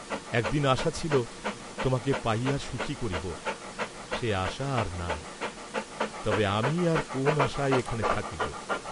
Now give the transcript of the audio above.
একদিন আশা ছিল তোমাকে পাইয়া সুখী হইব, সে আশা আর নাই, তবে আমি আর কোন আশায় এখানে থাকিব!